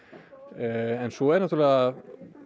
en svo er náttúrlega